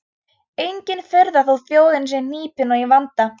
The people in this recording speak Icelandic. Engin furða þótt þjóðin sé hnípin og í vanda.